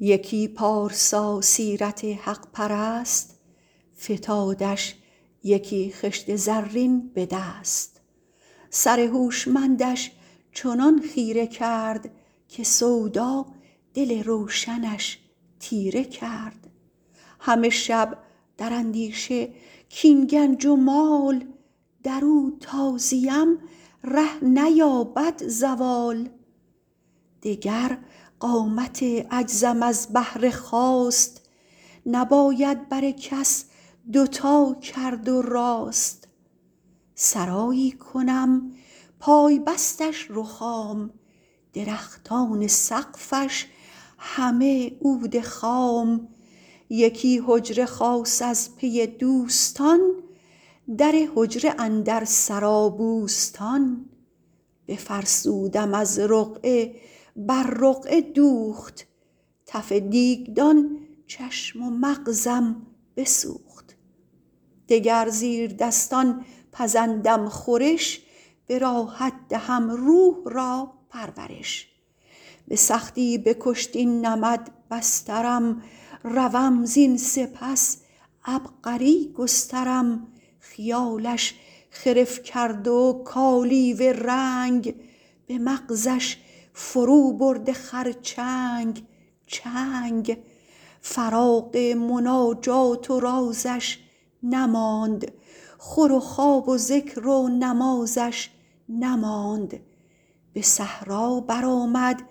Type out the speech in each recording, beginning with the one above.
یکی پارسا سیرت حق پرست فتادش یکی خشت زرین به دست سر هوشمندش چنان خیره کرد که سودا دل روشنش تیره کرد همه شب در اندیشه کاین گنج و مال در او تا زیم ره نیابد زوال دگر قامت عجزم از بهر خواست نباید بر کس دوتا کرد و راست سرایی کنم پای بستش رخام درختان سقفش همه عود خام یکی حجره خاص از پی دوستان در حجره اندر سرا بوستان بفرسودم از رقعه بر رقعه دوخت تف دیگدان چشم و مغزم بسوخت دگر زیردستان پزندم خورش به راحت دهم روح را پرورش به سختی بکشت این نمد بسترم روم زین سپس عبقری گسترم خیالش خرف کرد و کالیوه رنگ به مغزش فرو برده خرچنگ چنگ فراغ مناجات و رازش نماند خور و خواب و ذکر و نمازش نماند به صحرا برآمد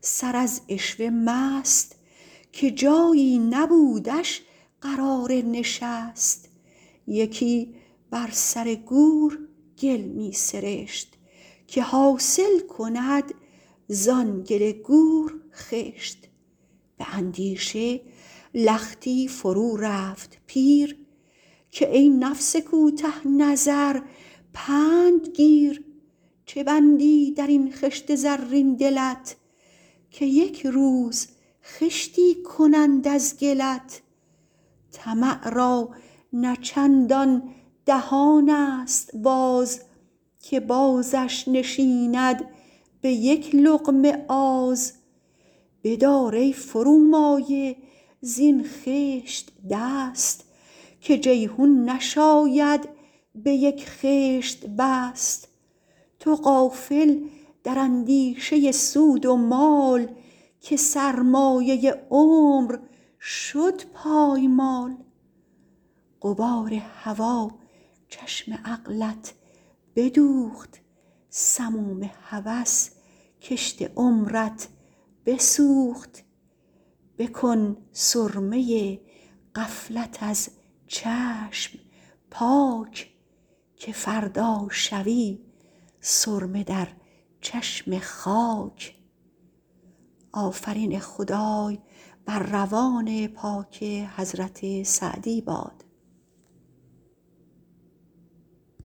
سر از عشوه مست که جایی نبودش قرار نشست یکی بر سر گور گل می سرشت که حاصل کند زآن گل گور خشت به اندیشه لختی فرو رفت پیر که ای نفس کوته نظر پند گیر چه بندی در این خشت زرین دلت که یک روز خشتی کنند از گلت طمع را نه چندان دهان است باز که بازش نشیند به یک لقمه آز بدار ای فرومایه زین خشت دست که جیحون نشاید به یک خشت بست تو غافل در اندیشه سود و مال که سرمایه عمر شد پایمال غبار هوا چشم عقلت بدوخت سموم هوس کشت عمرت بسوخت بکن سرمه غفلت از چشم پاک که فردا شوی سرمه در چشم خاک